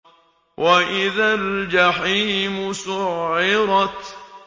وَإِذَا الْجَحِيمُ سُعِّرَتْ